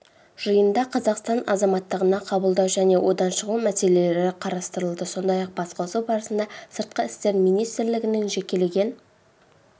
жиында қазақстан азаматтығына қабылдау және одан шығу мәселелері қарастырылды сондай-ақ басқосу барысында сыртқы істер министрлігінің жекелеген